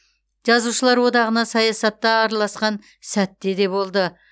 жазушылар одағына саясатта араласқан сәт те де болды